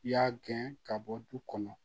I y'a gɛn ka bɔ du kɔnɔ